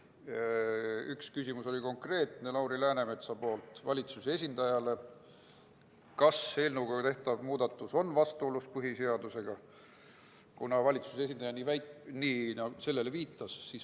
Üks konkreetne küsimus oli Lauri Läänemetsalt valitsuse esindajale: kas eelnõuga tehtav muudatus on vastuolus põhiseadusega?